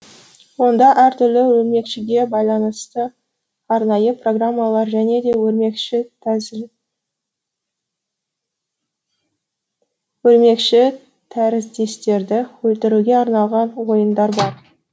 онда әртүрлі өрмекшіге байланысты арнайы программалар және де өрмекші өрмекші тәріздестерді өлтіруге арналған ойындар бар